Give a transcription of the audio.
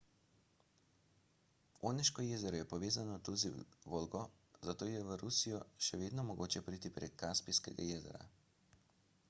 oneško jezero je povezano tudi z volgo zato je v rusijo še vedno mogoče priti prek kaspijskega jezera